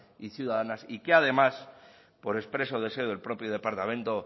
y ciudadanas y que además por expreso deseo del propio departamento